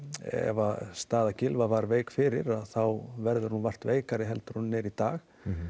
ef staða Gylfa var veik fyrir þá verður hún vart veikari en hún er í dag